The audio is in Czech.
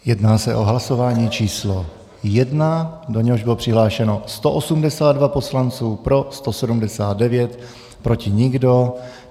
Jedná se o hlasování číslo 1, do něhož bylo přihlášeno 182 poslanců, pro 179, proti nikdo.